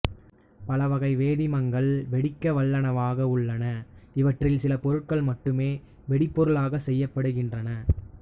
பலவகை வேதிமங்கள் வெடிக்கவல்லனவாக உள்ளன இவற்றில் சில பொருட்கள் மட்டுமே வெடிபொருளாகச் செய்யப்படுகின்றன